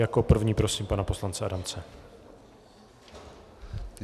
Jako první prosím pana poslance Adamce.